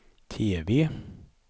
TV